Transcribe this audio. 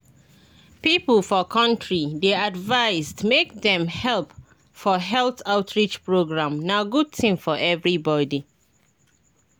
people for country dey advised make dem help for health outreach program na good thing for everybody.